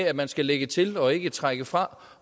at man skal lægge til og ikke trække fra